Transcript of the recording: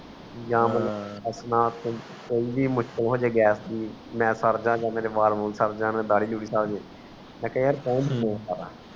ਯਾ ਕੋਈ ਵੀ ਮੁਸ਼ਕਿਲ ਹੋ ਜਾਏ gas ਮੈਂ ਸਰ ਜੰਗ ਮੇਰੇ ਵਾਲ ਵੂਲ ਸਰ ਜਾਨ ਮੇਰੀ ਢਾਡੀ ਦੁੜੀ ਸਰ ਜਾਇ ਮੈਂ ਕਿਹਾ